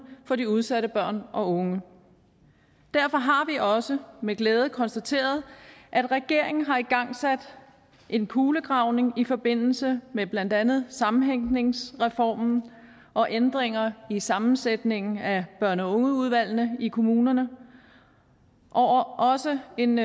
for de udsatte børn og unge derfor har vi også med glæde konstateret at regeringen har igangsat en kulegravning i forbindelse med blandt andet sammenhængsreformen og ændringer i sammensætningen af børne og ungeudvalgene i kommunerne og også en